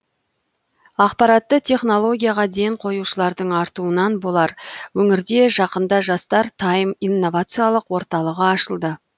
ақпаратты технологияға ден қоюшылардың артуынан болар өңірде жақында жастар тайм инновациялық орталығы ашылды